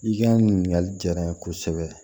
I ka ɲininkali diyara n ye kosɛbɛ